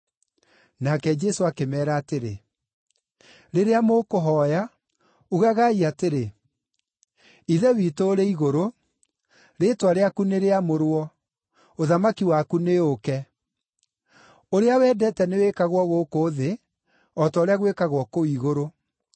Nake Jesũ akĩmeera atĩrĩ, “Rĩrĩa mũkũhooya, ugagai atĩrĩ: “ ‘Ithe witũ (ũrĩ Igũrũ), rĩĩtwa rĩaku nĩrĩamũrwo, ũthamaki waku nĩũũke. (Ũrĩa wendete nĩwĩkagwo gũkũ thĩ, o ta ũrĩa gwĩkagwo kũu igũrũ.)